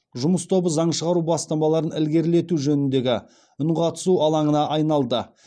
жұмыс тобы заң шығару бастамаларын ілгерілету жөніндегі үнқатысу алаңына айналды